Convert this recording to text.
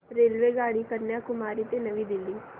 रेल्वेगाडी कन्याकुमारी ते नवी दिल्ली